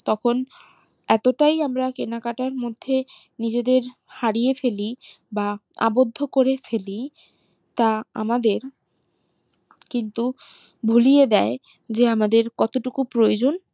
তখন এত তাই আমরা কেনাকাটার মধ্যে নিজেদের হারিয়ে ফেলি বা অবোধ করে ফেলি তা আমাদের কিন্তু ভুলিয়ে দেয় যে আমাদের কত টুকু প্রয়োজন